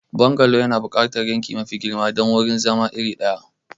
Bungalow yana buƙatar yanki mafi girma don wurin zama iri ɗaya.